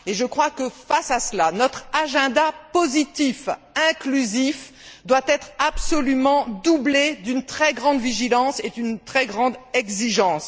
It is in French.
Je crois que face à cela, notre agenda positif, inclusif, doit être absolument doublé d'une très grande vigilance et d'une très grande exigence.